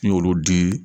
N y'olu di